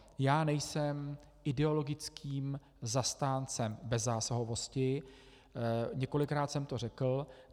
Já nejsem ideologickým zastáncem bezzásahovosti, několikrát jsem to řekl.